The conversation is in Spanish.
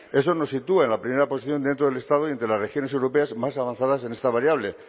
eso nos sitúa en la primera posición dentro del estado y entre las regiones europeas más avanzadas en esta variable